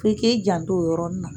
Ki k'i janto o yɔrɔni na